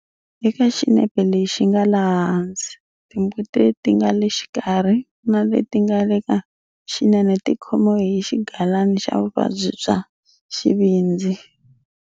Eka xinepe lexi nga laha hansi, timbuti leti nga le xikarhi na leti nga le ka xinene ti khomiwe hi xigalana xa vuvabyi bya xivindzi.